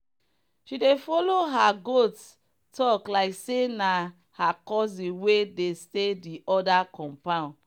she dey follow her goat talk like say na her cousin wey dey stay the other compound.